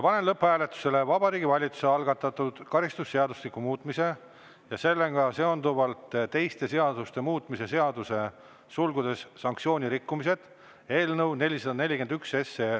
Panen lõpphääletusele Vabariigi Valitsuse algatatud karistusseadustiku muutmise ja sellega seonduvalt teiste seaduste muutmise seaduse eelnõu 441.